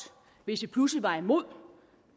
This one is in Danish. hvis vi pludselig var imod